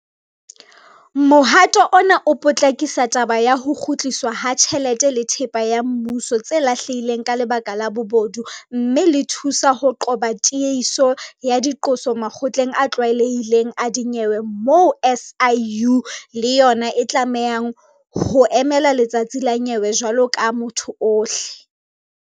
Mohato ona o potlakisa taba ya ho kgutliswa ha tjhelete le thepa ya mmuso tse lahlehang ka lebaka la bobodu mme hape le thusa ho qoba tiehiso ya diqoso makgotleng a tlwaelehileng a dinyewe moo SIU le yona e tlamehang ho emela letsatsi la nyewe jwalo ka motho ohle.